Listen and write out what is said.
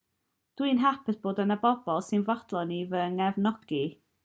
dw i'n hapus fod yna bobl sy'n fodlon i fy nghefnogi